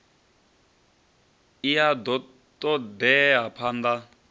i a ṱo ḓea phanḓa